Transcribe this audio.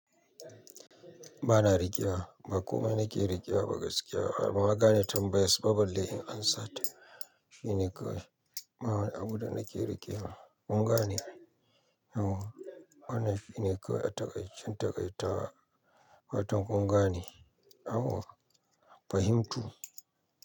Ba na riƙewa, ba komai nake riƙewa ba gaskiya. Ai banma gane tambayas balle in amsata. Shi ne kawai ma wani abu da nake riƙewa. Kun gane ai? To. Wannan shi ne kawai a takai cen takaitawa fatan kun gane. Awu. Fahimtu.